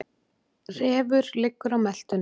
Refur liggur á meltunni.